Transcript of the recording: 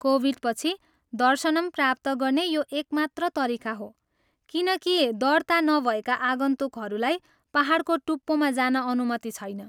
Covid पछि, दर्शनम प्राप्त गर्ने यो एक मात्र तरिका हो, किनकि दर्ता नभएका आगन्तुकहरूलाई पाहाडको टुप्पोमा जान अनुमति छैन।